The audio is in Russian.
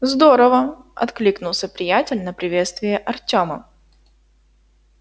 здорово откликнулся приятель на приветствие артема